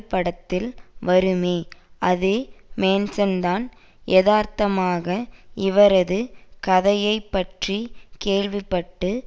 படத்தில் வருமே அதே மேன்சன்தான் எதார்த்தமாக இவரது கதையை பற்றி கேள்வி பட்டு